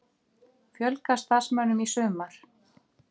Fjölga starfsmönnum í sumar